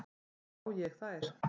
Sá ég þær.